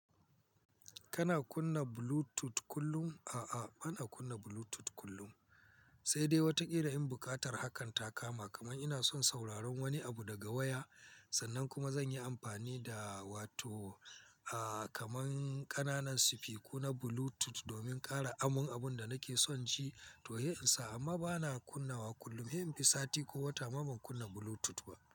Kana kunna Bluetooth kullun? A'a, bana kunna Bluetooth kullun, sai dai wataƙila in buƙatar hakan ta kama, kaman ina son sauraron wani abu daga waya sannan kuma zan yi ampani da wato, a, kaman ƙananan sifiku na Bluetooth domin kara amon abun da nake son ji. To, he, in sa. Amma bana kunna wa kullun. He, in fi sati ko wata ma ban kunna Bluetooth ba.